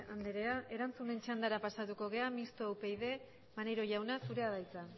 andrea erantzunen txandara pasatuko gara misto upyd maneiro jauna zurea da hitza